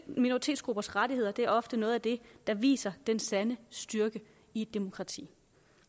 minoritetsgruppers rettigheder er ofte noget af det der viser den sande styrke i et demokrati